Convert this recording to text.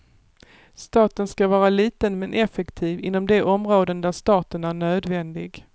Staten ska vara liten men effektiv inom de områden där staten är nödvändig.